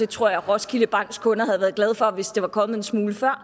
tror roskilde banks kunder havde været glade hvis det var kommet en smule før og